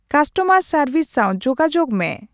Customer service ᱥᱟᱶ ᱡᱳᱜᱟᱡᱳᱜᱽ ᱢᱮ ᱾